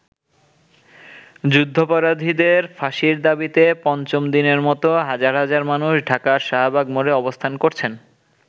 যুদ্ধাপরাধীদের ফাঁসির দাবীতে পঞ্চম দিনের মতো হাজার হাজার মানুষ ঢাকার শাহবাগ মোড়ে অবস্থান করছেন।